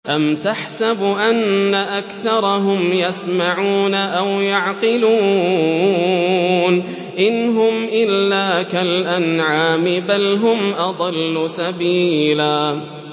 أَمْ تَحْسَبُ أَنَّ أَكْثَرَهُمْ يَسْمَعُونَ أَوْ يَعْقِلُونَ ۚ إِنْ هُمْ إِلَّا كَالْأَنْعَامِ ۖ بَلْ هُمْ أَضَلُّ سَبِيلًا